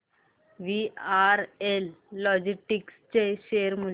VRL logistics चे share मूल्य